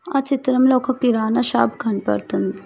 ఆ చిత్రంలో ఒక కిరాణా షాప్ కనబడుతుంది.